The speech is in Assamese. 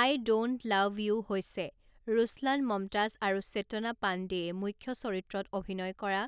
আই ড'ন্ট লাভ ইউ হৈছে ৰুছলান মমতাজ আৰু চেতনা পাণ্ডেয়ে মুখ্য চৰিত্ৰত অভিনয় কৰা